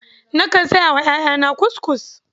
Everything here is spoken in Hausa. Nakan saya wa ƴaƴana kuskus.